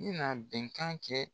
I na bɛnkan kɛ